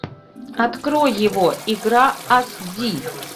открой его игра аш ди